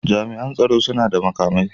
Jami'an tsoron suna da makamai.